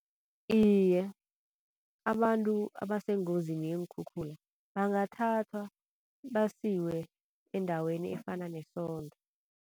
Iye, abantu abasengozini yeenkhukhula bangathatha basiwe endaweni efana nesondo.